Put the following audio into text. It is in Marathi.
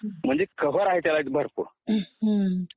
म्हणजे कव्हर आहे त्याला एक भरपूर